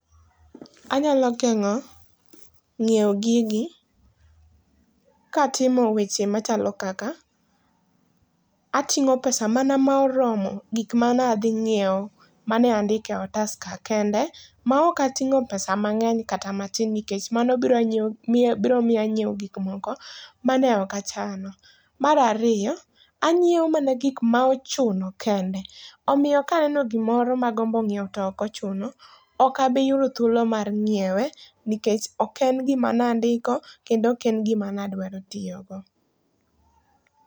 Anyalo gengó, nyiewo gigi, kaatimo weche machalo kaka, atingó pesa mana ma oromo gik manadhi nyiewo mane andike otas ka kende, maok atingó pesa mangény kat matin, nikech mano biro miyo, biro miyo anyiewo gik moko mane okachano. Mar ariyo, anyiewo mana gik ma ochuno kende. Omiyo ka aneno gik moko ma agombo nyiewo to ok ochuno, okabiyudo thuolo mar nyiewe, nikech ok en gima ne andiko, kendo ok en gima ne adwaro tiyogo.